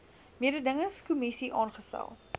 mededingings kommissie ingestel